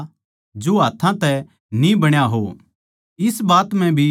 इस बात म्ह भी उनकी गवाही एकसी कोनी लिकड़ी